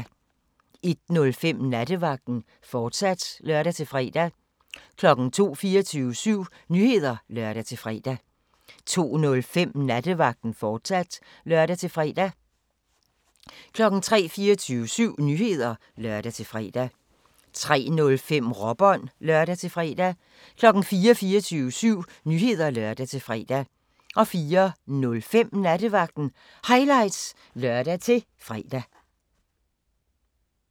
01:05: Nattevagten, fortsat (lør-fre) 02:00: 24syv Nyheder (lør-fre) 02:05: Nattevagten, fortsat (lør-fre) 03:00: 24syv Nyheder (lør-fre) 03:05: Råbånd (lør-fre) 04:00: 24syv Nyheder (lør-fre) 04:05: Nattevagten Highlights (lør-fre)